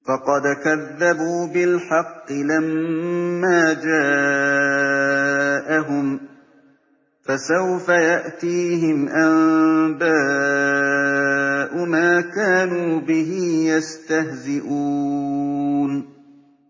فَقَدْ كَذَّبُوا بِالْحَقِّ لَمَّا جَاءَهُمْ ۖ فَسَوْفَ يَأْتِيهِمْ أَنبَاءُ مَا كَانُوا بِهِ يَسْتَهْزِئُونَ